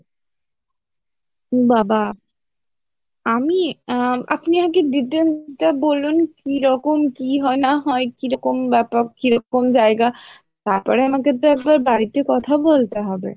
উম বাবা আমি আহ আপনি আমাকে detail টা বলবেন কি রকম কি হয় না হয় কি রকম ব্যাপার কি রকম জায়গা তারপরে আমাকে তো একবার বাড়িতে কথা বলতে হবে